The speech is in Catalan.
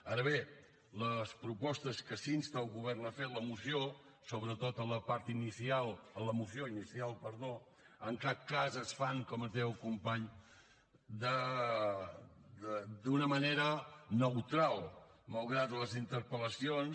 ara bé les propostes que s’insta el govern a fer en la moció sobretot en la moció inicial en cap cas es fan com ens deia el company d’una manera neutral malgrat les interpel·lacions